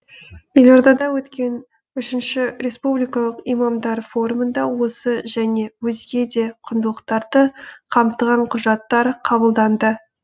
елордада өткен үшінші республикалық имамдар форумында осы және өзге де құндылықтарды қамтыған құжаттар қабылданды